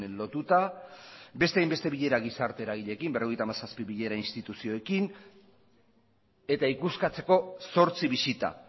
lotuta beste hainbeste bilera gizarte eragileekin berrogeita hamazazpi bilera instituzioekin eta ikuskatzeko zortzi bisita